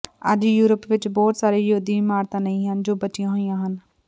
ਅੱਜ ਯੂਰਪ ਵਿਚ ਬਹੁਤ ਸਾਰੇ ਯਹੂਦੀ ਇਮਾਰਤਾਂ ਨਹੀਂ ਹਨ ਜੋ ਬਚੀਆਂ ਹੋਈਆਂ ਹਨ